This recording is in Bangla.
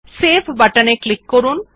সেভ বাটনে ক্লিক করুন